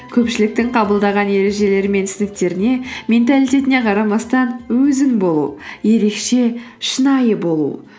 көпшіліктің қабылдаған ережелері мен түсініктеріне менталитетіне қарамастан өзің болу ерекше шынайы болу